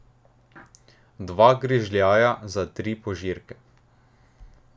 Dva grižljaja za tri požirke.